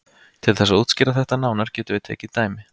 Til þess að útskýra þetta nánar getum við takið dæmi.